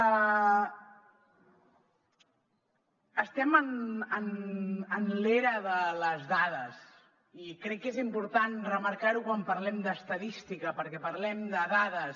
estem en l’era de les dades i crec que és important remarcar ho quan parlem d’estadística perquè parlem de dades